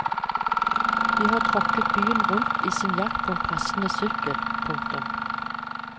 De har tråkket byen rundt i sin jakt på en passende sykkel. punktum